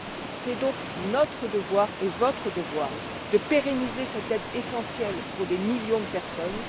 Il est donc de notre devoir et de votre devoir de pérenniser cette aide, essentielle pour des millions de personnes.